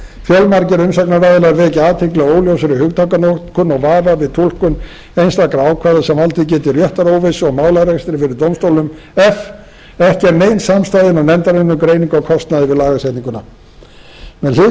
e fjölmargir umsagnaraðilar vekja athygli á óljósri hugtakanotkun og vafa við túlkun einstakra ákvæða sem valdið geti réttaróvissu og málarekstri fyrir dómstólum f ekki er nein samstaða innan nefndarinnar um greiningu á kostnaði við lagasetninguna með hliðsjón af